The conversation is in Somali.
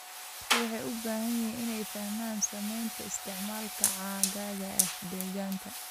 Dadku waxay u baahan yihiin inay fahmaan saameynta isticmaalka caagagga ee deegaanka.